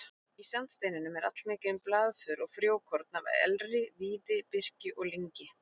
Í sandsteininum er allmikið um blaðför og frjókorn af elri, víði, birki og lyngi.